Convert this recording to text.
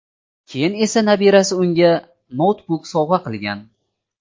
Keyin esa nabirasi unga noutbuk sovg‘a qilgan.